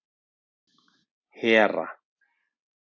Hera